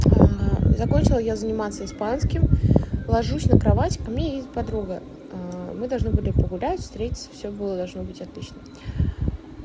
закончила я заниматься испанским ложусь на кровать ко мне едет подруга мы должны были погулять встретиться всё было должно быть отлично